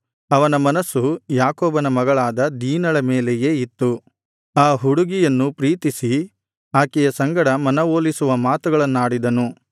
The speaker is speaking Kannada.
ಅವನ ಮನಸ್ಸು ಯಾಕೋಬನ ಮಗಳಾದ ದೀನಳ ಮೇಲೆಯೇ ಇತ್ತು ಆ ಹುಡುಗಿಯನ್ನು ಪ್ರೀತಿಸಿ ಆಕೆಯ ಸಂಗಡ ಮನವೊಲಿಸುವ ಮಾತುಗಳನ್ನಾಡಿದನು